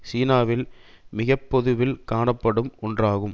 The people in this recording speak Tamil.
சீனாவில் மிக பொதுவில் காணப்படும் ஒன்றாகும்